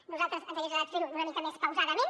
a nosaltres ens hagués agradat fer ho una mica més pausadament